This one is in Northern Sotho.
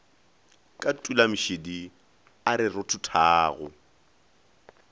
ka tulamešidi a re rothothago